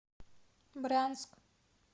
брянск